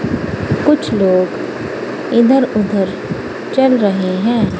कुछ लोग इधर उधर चल रहे हैं।